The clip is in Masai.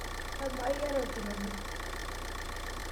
Amaa iyata orkirobi?